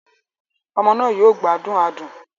Ọmọ náà yóò gbádùn adùn